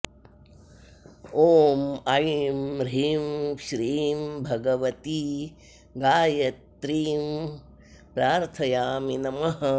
ॐ ऐं ह्रीं श्रीं भगवती गायत्र्यीं प्रार्थयामि नमः